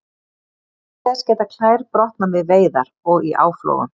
Auk þess geta klær brotnað við veiðar og í áflogum.